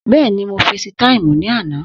Bẹ́ẹ̀ni, mo fesi táìmù ní àná